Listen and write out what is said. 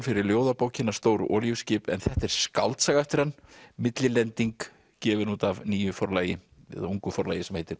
fyrir ljóðabókina Stór olíuskip en þetta er skáldsaga eftir hann millilending gefin út af nýju forlagi eða ungu forlagi sem heitir